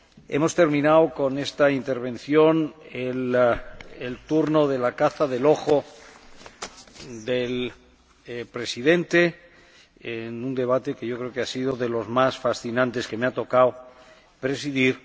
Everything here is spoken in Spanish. Hemos terminado con esta intervención el turno de la caza del ojo del presidente, en un debate que creo que ha sido de los más fascinantes que me ha tocado presidir.